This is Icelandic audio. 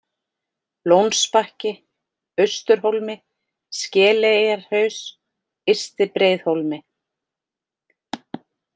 Lónsbakki, Austurhólmi, Skeleyjarhaus, Ysti-Breiðhólmi